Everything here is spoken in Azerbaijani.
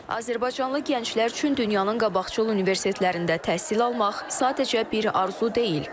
Azərbaycanlı gənclər üçün dünyanın qabaqcıl universitetlərində təhsil almaq sadəcə bir arzu deyil.